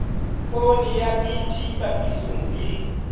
poone ya bt papisong le